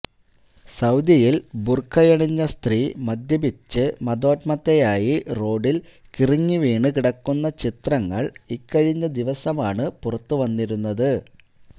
സൌദിയിൽ ബുർഖയണിഞ്ഞ സ്ത്രീ മദ്യപിച്ച് മദോന്മത്തയായി റോഡിൽ കിറുങ്ങി വീണ് കിടക്കുന്ന ചിത്രങ്ങൾ ഇക്കഴിഞ്ഞ ദിവസമാണ് പുറത്ത് വന്നിരുന്നത്